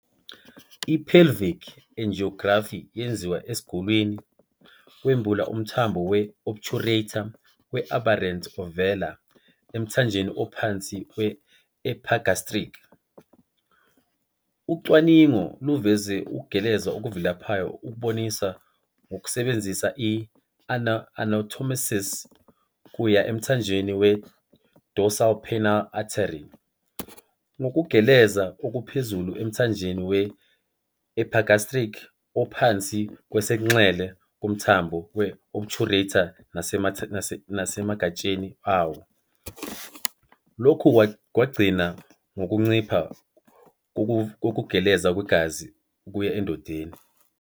I-pelvic angiography yenziwa esigulini, kwembula umthambo we-obturator we- aberrant ovela emthanjeni ophansi we-epigastric. Ucwaningo luveze ukugeleza okuvilaphayo okuboniswa ngokusebenzisa i-anastomosis kuya emthanjeni we-dorsal penile artery, ngokugeleza okuphezulu emthanjeni we-epigastric ongaphansi kwesobunxele kumthambo we-obturator nasemagatsheni awo. Lokhu kwagcina ngokuncipha kokugeleza kwegazi okuya endondeni.